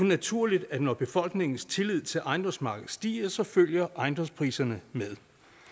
naturligt at når befolkningens tillid til ejendomsmarkedet stiger så følger ejendomspriserne med